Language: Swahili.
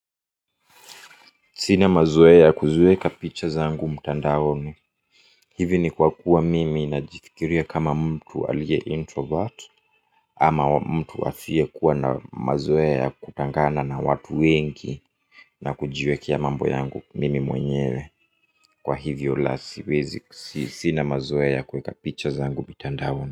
Sina mazoea kuziweka picha zangu mtandaoni. Hivi ni kwa kuwa mimi najifikiria kama mtu alie introvert. Ama mtu asiye kuwa na mazoea ya kutangana na watu wengi. Na hujiwekea mambo yangu mimi mwenyewe. Sina mazoea ya kuweka picha zangu mtandaoni.